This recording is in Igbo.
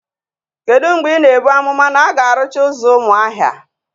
Kedu mgbe ị na-ebu amụma na a ga-arụcha ụzọ Umuaha?